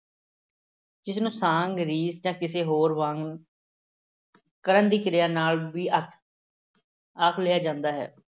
ਜਿਸ ਨੂੰ ਸਾਂਗ, ਰੀਸ ਜਾਂ ਕਿਸੇ ਹੋਰ ਵਾਂਗ ਕਰਨ ਦੀ ਕਿਰਿਆ ਨਾਲ ਵੀ ਆ ਆਖ ਲਿਆ ਜਾਂਦਾ ਹੈ।